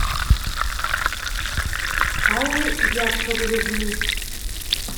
аллы яковлевны